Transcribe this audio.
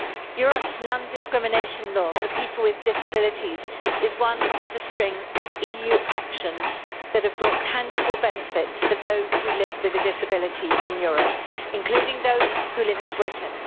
Europe's non discrimination law for people with disabilities is one of a string of EU actions that have brought tangible benefits for those who live with a disability in Europe, including those who live in Britain.